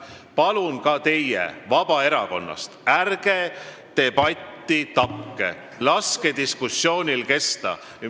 Palun ka teid, kes te olete Vabaerakonnast – ärge tapke debatti, laske diskussioonil kesta!